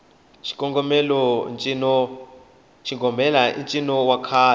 xigomelai ncino wa kahle